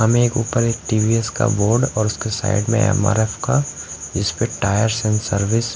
हमें एक ऊपर एक टी_वी_एस का बोर्ड और उसके और उसके साइड में एम_आर_एफ का जिसपे टायर्स एंड सर्विस --